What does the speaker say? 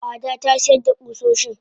Ada tasiyar da kusoshin.